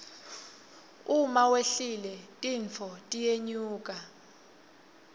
uma wehlile tintfo tiyenyuka